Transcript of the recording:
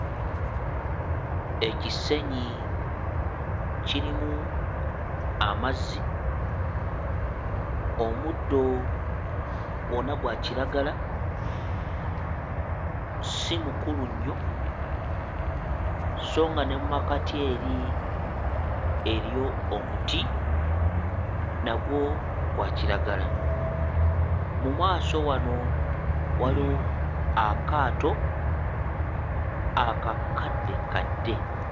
Ekisenyi kirimu amazzi, omuddo gwonna gwa kiragala si mukulu nnyo sso nga ne mu makkati eri eriyo omuti nagwo gwa kiragala. Mu maaso wano waliwo akaato akakaddekadde.